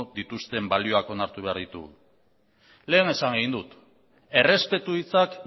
dituzten balioak onartu behar ditugu lehen esan egin dut errespetu hitzak